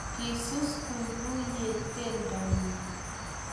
kisus kuikuyie keldo nyin